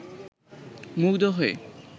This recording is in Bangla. মুগ্ধ হয়ে